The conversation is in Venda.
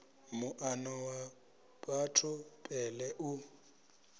muano wa batho pele u